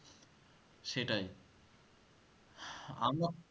সেটাই